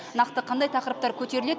нақты қандай тақырыптар көтеріледі